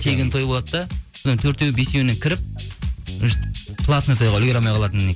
тегін той болады да соның төртеу бесеуіне кіріп платный тойға үлгіре алмай қалатын